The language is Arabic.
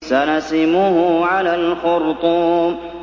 سَنَسِمُهُ عَلَى الْخُرْطُومِ